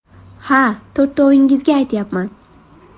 Ha, to‘rtovingizga aytyapman.